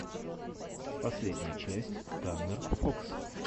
последняя часть таннер фокс